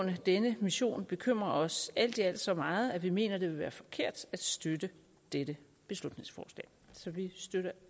med denne mission bekymrer os alt i alt så meget at vi mener det vil være forkert at støtte dette beslutningsforslag så vi støtter